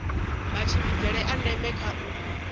matshimbidzele a ndeme kha u